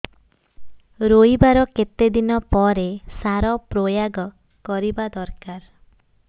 ରୋଈବା ର କେତେ ଦିନ ପରେ ସାର ପ୍ରୋୟାଗ କରିବା ଦରକାର